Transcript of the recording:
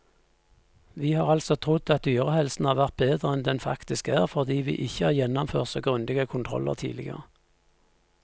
Vi har altså trodd at dyrehelsen har vært bedre enn den faktisk er, fordi vi ikke har gjennomført så grundige kontroller tidligere.